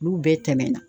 Olu bɛɛ tɛmɛna